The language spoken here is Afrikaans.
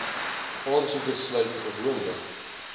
aansoeke sluit gewoonlik